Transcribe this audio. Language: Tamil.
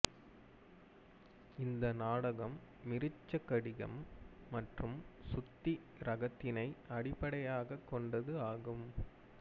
இந்த நாடகம் மிருச்சகடிகம் மற்றும் சூத்திரகரத்தினை அடிப்படையாகக் கொண்டது ஆகும்